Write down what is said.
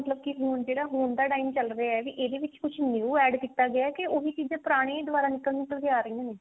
ਹੁਣ ਜਿਹੜੇ ਹੁਣ ਦਾ time ਚੱਲ ਰਿਹਾ ਮਤਲਬ ਇਹ ਹੀ ਕੀ ਇਹਦੇ ਵਿੱਚ ਕੁਛ new add ਕੀਤਾ ਗਿਆ ਕੇ ਉਹੀ ਚੀਜ਼ਾਂ ਪੁਰਾਣੀਆਂ ਹੀ ਦੁਬਾਰਾ ਨਿਕਲ ਨਿਕਲ ਕੇ ਆ ਰਹੀਆਂ ਨੇ